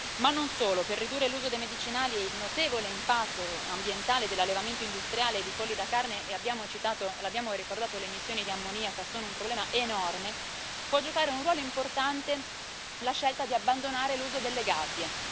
Ma non solo, per ridurre l'uso dei medicinali e il notevole impatto ambientale dell'allevamento industriale di polli da carne e l'abbiamo ricordato le emissioni di ammoniaca sono un problema enorme può giocare un ruolo importante la scelta di abbandonare l'uso delle gabbie.